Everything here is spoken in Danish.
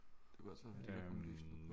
Det kunne også være fordi der kom lys på dem